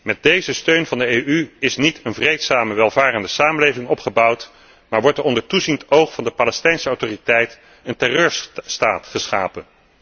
Met deze steun van de EU is niet een vreedzame, welvarende samenleving opgebouwd, maar wordt er onder toeziend oog van de Palestijnse Autoriteit een terreurstaat geschapen.